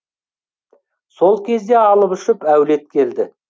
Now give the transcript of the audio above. сол кезде алып ұшып әулет келді